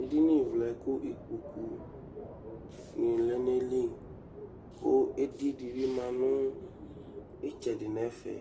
edɩnyɩ vlɛ kʊ ɩkpokʊ nɩ lɛ nʊ eyɩlɩ kʊ edɩ dɩbɩ ma nʊ ɩtsɛdɩ nʊ ɛfɛ